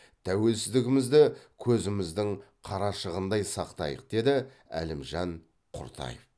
тәуелсіздігімізді көзіміздің қарашығындай сақтайық деді әлімжан құртаев